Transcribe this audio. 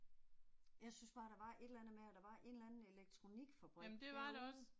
Jeg synes bare der var et eller andet med at der var en eller anden elektronikfabrik derude